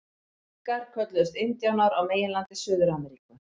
Inkar kölluðust indíánar á meginlandi Suður-Ameríku.